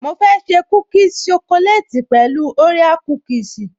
Mo fẹ́ ṣe kúkìsì ṣokoleti pẹ̀lú orea kúkìsì